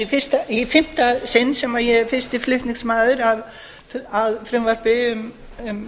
þetta er í fimmta sinn sem ég er fyrsti flutningsmaður að frumvarpi um